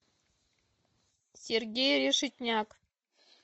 сергей решетняк